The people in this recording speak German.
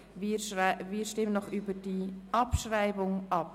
Wir stimmen noch über die Abschreibung ab.